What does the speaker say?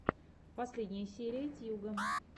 последняя серия тьюга